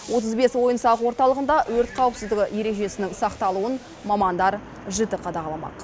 отыз бес ойын сауық орталығында өрт қауіпсіздігі ережесінің сақталуын мамандар жіті қадағаламақ